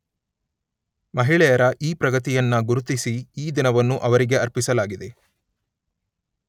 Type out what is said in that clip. ಮಹಿಳೆಯರ ಈ ಪ್ರಗತಿಯನ್ನ ಗುರುತಿಸಿ ಈ ದಿನವನ್ನು ಅವರಿಗೆ ಅರ್ಪಿಸಲಾಗಿದೆ